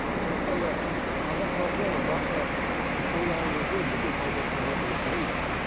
сондықтан да қазақ халқы барша тойлаған кезде бүкіл салт дәстүр бойынша өткіземіз